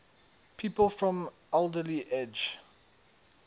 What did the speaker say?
people from alderley edge